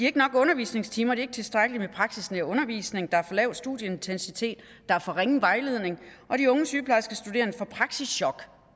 ikke nok undervisningstimer de har ikke tilstrækkelig med praksisnær undervisning der er for lav studieintensitet der er for ringe vejledning og de unge sygeplejerskestuderende får praksischok